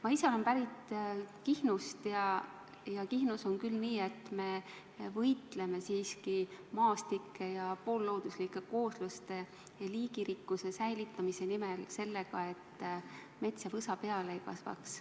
Ma ise olen pärit Kihnust ja seal on küll nii, et me võitleme maastike ja poollooduslike koosluste ja liigirikkuse säilitamise nimel sellega, et mets ja võsa peale ei kasvaks.